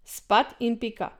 Spat in pika!